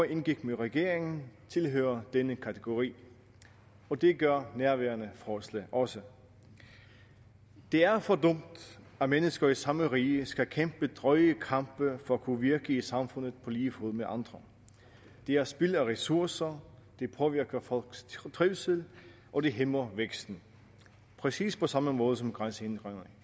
indgik med regeringen i fjor tilhører denne kategori og det gør nærværende forslag også det er for dumt at mennesker i samme rige skal kæmpe drøje kampe for at kunne virke i samfundet på lige fod med andre det er spild af ressourcer det påvirker folks trivsel og det hæmmer væksten præcis på samme måde som grænsehindringerne